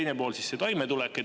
Teine pool on toimetulek.